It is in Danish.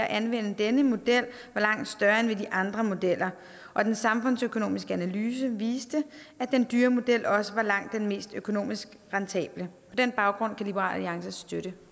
at anvende denne model er langt større end ved de andre modeller og den samfundsøkonomiske analyse viste at den dyre model også er langt den mest økonomisk rentable på den baggrund kan liberal alliance støtte